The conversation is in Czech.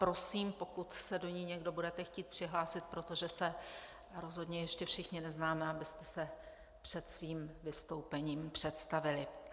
Prosím, pokud se do ní někdo budete chtít přihlásit, protože se rozhodně ještě všichni neznáme, abyste se před svým vystoupením představili.